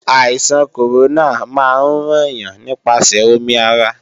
Àìsàn kòrónà máa ń ràn yàn nípasẹ̀ omi ara